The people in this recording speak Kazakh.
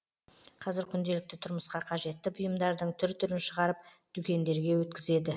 қазір күнделікті тұрмысқа қажетті бұйымдардың түр түрін шығарып дүкендерге өткізеді